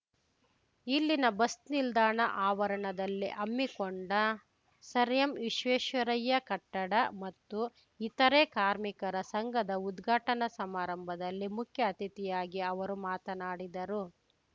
ಇಲ್ಲಿನ ಬಸ್‌ ನಿಲ್ದಾಣ ಆವರಣದಲ್ಲಿ ಹಮ್ಮಿಕೊಂಡ ಸರ್‌ಎಂವಿಶ್ವೇಶ್ವರಯ್ಯ ಕಟ್ಟಡ ಮತ್ತು ಇತರೇ ಕಾರ್ಮಿಕರ ಸಂಘದ ಉದ್ಘಾಟನಾ ಸಮಾರಂಭದಲ್ಲಿ ಮುಖ್ಯ ಅತಿಥಿಯಾಗಿ ಅವರು ಮಾತನಾಡಿದರು